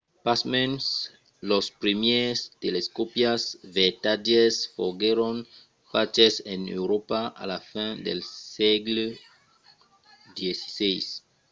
pasmens los primièrs telescòpis vertadièrs foguèron faches en euròpa a la fin del sègle xvi